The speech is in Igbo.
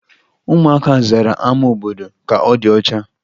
Ụmụaka zara ama obodo ka ọ dị ọcha